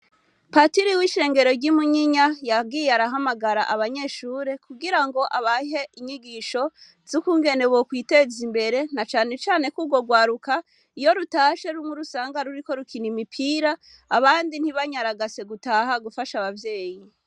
Patiri w'ishengero ry'imunyinya yagiye arahamagara abanyeshure kugira ngo abahe inyigisho z' ukungene bokwiteza imbere na canecane k'urwo rwaruka iyo rutashe rumwe urusanga ruriko rukina imipira abandi ntibanyaragase gutaha gufasha abavyeyi.